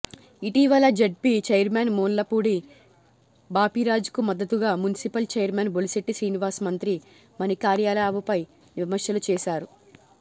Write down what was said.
ఇటీవల ZP chairman Mullapudi బాపిరాజుకు మద్దతుగా మున్సిపల్ చైర్మన్ బొలిశెట్టి శ్రీనివాస్ మంత్రి మాణిక్యాలరావుపై విమర్శలు చేశారు